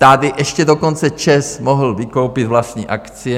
Tady ještě dokonce ČEZ mohl vykoupit vlastní akcie.